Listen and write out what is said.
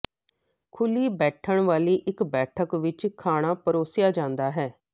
ਖੁੱਲ੍ਹੀ ਬੈਠਣ ਵਾਲੀ ਇਕ ਬੈਠਕ ਵਿਚ ਖਾਣਾ ਪਰੋਸਿਆ ਜਾਂਦਾ ਹੈ